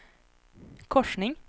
korsning